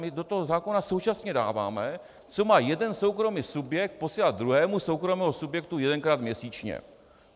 My do toho zákona současně dáváme, co má jeden soukromý subjekt posílat druhému soukromému subjektu jedenkrát měsíčně.